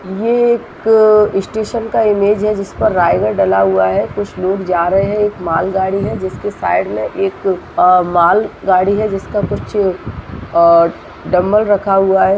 ये एक स्टेशन का इमेज है जिस पर रायगढ़ डला हुआ है कुछ लोग जा रहे हैं एक मालगाड़ी है जिसके साइड में एक अ मालगाड़ी है जिसका कुछ अ डम्मल रखा हुआ है ।